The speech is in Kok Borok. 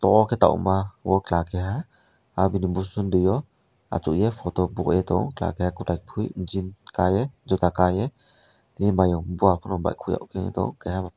obo ke tongma obo chela keha ahbini bosong tio asogei photo boie tango chela keha kotai poi jean kanoi jota kanoi tini mayong buya korok bai koye tango keha bo.